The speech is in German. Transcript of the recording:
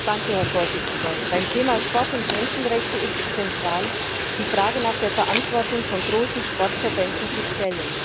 Herr Präsident! Beim Thema Sport und Menschenrechte ist es zentral, die Frage nach der Verantwortung von großen Sportverbänden zu stellen.